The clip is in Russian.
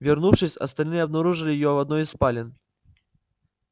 вернувшись остальные обнаружили её в одной из спален